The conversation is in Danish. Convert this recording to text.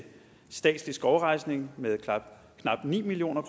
statslig skovrejsning med knap ni million